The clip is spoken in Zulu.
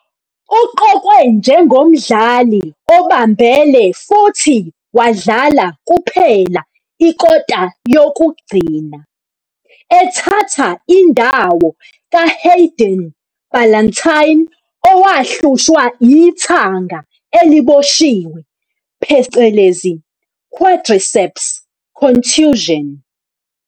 Uqokwe njengomdlali obambele futhi wadlala kuphela ikota yokugcina, ethatha indawo kaHayden Ballantyne owahlushwa ithanga eliboshiwe, quadriceps contusion.